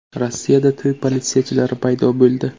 Rossiyada to‘y politsiyachilari paydo bo‘ldi.